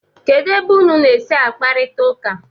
kedu ebe ụnụ na-esi akparịta ụka?